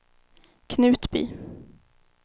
Knutby